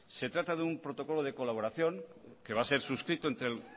se trata de un protocolo de colaboración que va a ser suscrito entre el